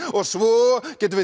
og svo getum við